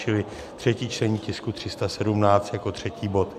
Čili třetí čtení tisku 317 jako třetí bod.